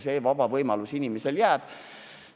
See võimalus inimesele jääb.